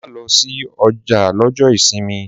Má lo sí ojà lójó ìsinmi!